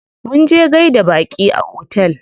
Munje gaida baƙi a otel.